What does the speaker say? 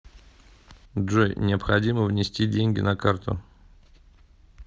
джой необходимо внести деньги на карту